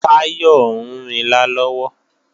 Táyọ̀ ń rinlá lọ́wọ́